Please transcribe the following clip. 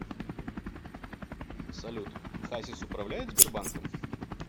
салют хасис управляет сбербанком